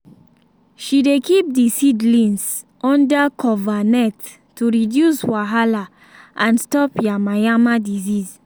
she dey keep the seedlings under cover net to reduce wahala and stop yamayama disease